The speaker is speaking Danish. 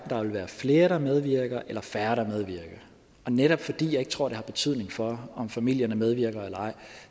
der vil være flere der medvirker eller færre der medvirker og netop fordi jeg ikke tror at det har betydning for om familierne medvirker eller